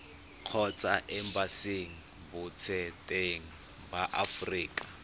kgotsa embasing botseteng ba aforika